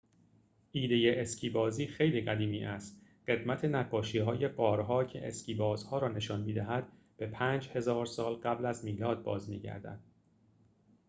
ایده اسکی‌بازی خیلی قدیمی است قدمت نقاشی‌های غارها که اسکی بازها را نشان می‌دهد به ۵۰۰۰ سال قبل از میلاد باز می‌گردد